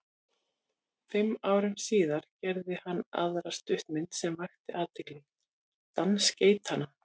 Fimm árum síðar gerði hann aðra stuttmynd sem vakti athygli, Dans geitanna.